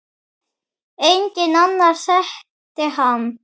Enginn annar þekkti hann.